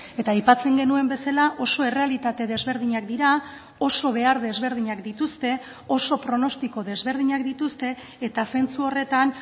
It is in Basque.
eta aipatzen genuen bezala oso errealitate desberdinak dira oso behar desberdinak dituzte oso pronostiko desberdinak dituzte eta zentzu horretan